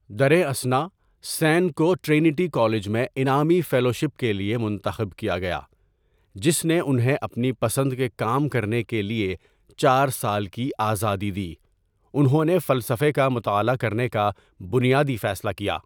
دریں اثنا، سین کو ٹرنیٹی کالج میں انعامی فیلوشپ کے لیے منتخب کیا گیا، جس نے انھیں اپنی پسند کے کام کرنے کے لیے چار سال کی آزادی دی، انہوں نے فلسفے کا مطالعہ کرنے کا بنیادی فیصلہ کیا۔